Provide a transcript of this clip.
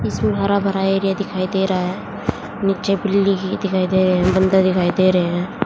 इसमें हरा भरा एरिया दिखाई दे रहा है नीचे बिल्ली दिखाई दे रहे हैं बंदर भी दिखाई दे रहे हैं।